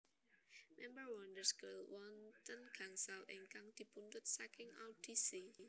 Member Wonder Girls wonten gangsal ingkang dipunpundhut saking audisi